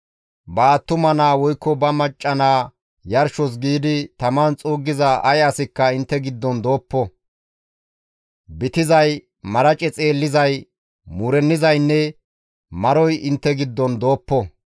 Ba attuma naa woykko macca naa yarshos giidi taman xuuggiza ay asikka intte giddon dooppo; bitizay, marace xeellizay, muurennizaynne maroy intte giddon dooppo.